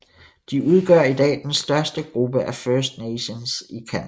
De udgør i dag den største gruppe af First Nations i Canada